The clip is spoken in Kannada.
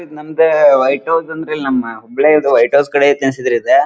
ನಮ್ಮದ್ ವೈಟ್ ಹೌಸ್ ಅಂದ್ರ ನಮ್ಮ ಹುಬ್ಬಳಿದ್ ವೈಟ್ ಹೌಸ್ ಕಡೆದ್ ಆಯ್ತ್ ಅನಸ್ತೇತಿ ಇದ .